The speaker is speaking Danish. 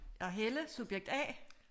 Og Helle subjekt A